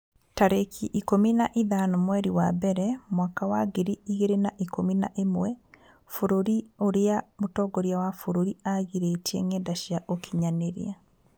tarĩki ikũmi na ithano mweri wa mbere mwaka wa ngiri igĩrĩ na ikũmi na ĩmwe Bũrũri ũrĩa mũtongoria wa bũrũri aagirĩtie ngenda cia ũkinyanĩria